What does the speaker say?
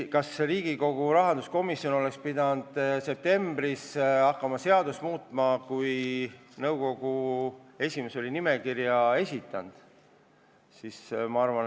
Kas Riigikogu rahanduskomisjon oleks pidanud hakkama septembris seadust muutma, kui nõukogu esimees oli nimekirja juba esitanud?